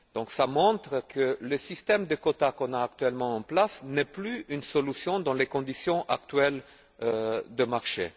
Cela montre donc que le système de quotas actuellement en place n'est plus une solution dans les conditions actuelles du marché.